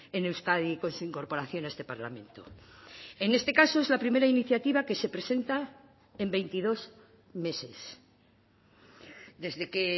en euskadi con su incorporación a este parlamento en este caso es la primera iniciativa que se presenta en veintidós meses desde que